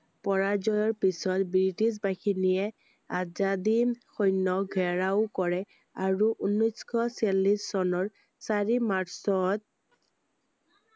পৰাজয়ৰ পিছত ব্ৰিটিছ বাহিনীয়ে আজাদ হিন্দ সৈন্য়ক ঘেৰাও কৰে আৰু ঊনৈছ শ চল্লিচ চনৰ চাৰি মাৰ্চত